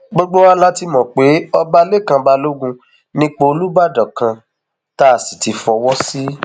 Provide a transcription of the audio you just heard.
gbogbo wa la ti mọ pé ọba lẹkàn balógun nípò olùbàdàn kan tá a sì ti fọwọ sí i